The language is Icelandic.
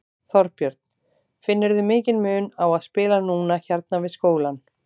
Þorbjörn: Finnurðu mikinn mun á að spila núna hérna við skólann?